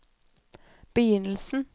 begynnelsen